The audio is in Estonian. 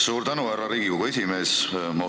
Suur tänu, härra Riigikogu esimees!